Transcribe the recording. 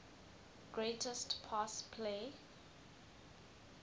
greatest pass play